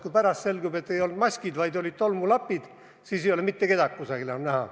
Kui pärast selgub, et ei olnud maskid, vaid olid tolmulapid, siis ei ole mitte kedagi kuskil enam näha.